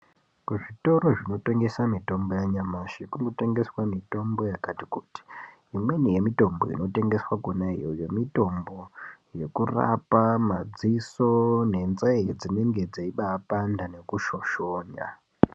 Kuzvitoro zvinotengesa mitombo yanyamashi kunotengeswa mitombo yakati kuti. Imweni yemitombo inotengeswa kona iyoyo mitombo yekurapa madziso nenzee dzinenge dzeibapanda nekushoshonya.